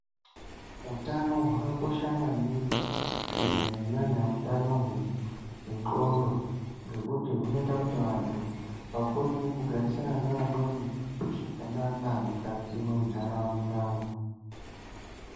Utano hwakakosha maningi kunyanya nyany hwenqondo hunoita kuti antu akone kugarisana neamweni mukati munharaunda.